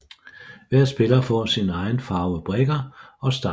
Hver spiller får sin egen farve brikker og startpenge